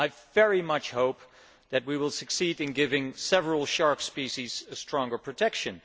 I very much hope that we will succeed in giving several shark species stronger protection.